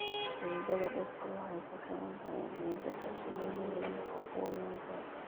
Xididda dhirta waxay ku xiran tahay ciidda xasilloonida iyo nafaqooyinka.